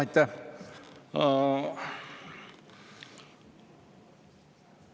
Aitäh!